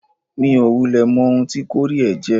Mi ò wulẹ̀ mọ ohun tí kọ́ríẹ̀ jẹ́.